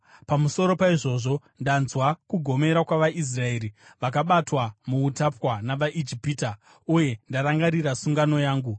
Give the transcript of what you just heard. Pamusoro paizvozvo, ndanzwa kugomera kwavaIsraeri, vakabatwa muutapwa navaIjipita, uye ndarangarira sungano yangu.